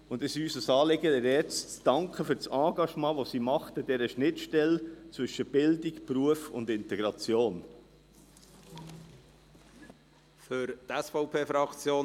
Es ist uns ein Anliegen, ihr jetzt für das Engagement an der Schnittstelle zwischen Bildung, Beruf und Integration zu danken.